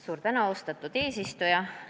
Suur tänu, austatud eesistuja!